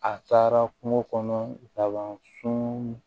A taara kungo kɔnɔ laban sun